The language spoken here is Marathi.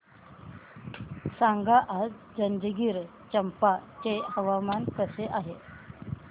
सांगा आज जंजगिरचंपा चे हवामान कसे आहे